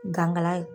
Gankala ye